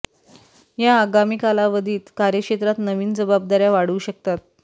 या आगामी कालावधीत कार्यक्षेत्रात नवीन जबाबदाऱ्या वाढू शकतात